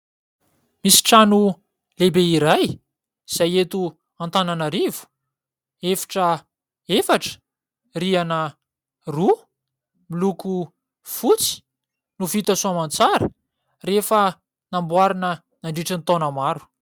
Misy trano lehibe iray izay eto Antananarivo. Efitra efatra, rihana roa, miloko fotsy no vita soaman-tsara rehefa namboarina nandritra ny taona maro.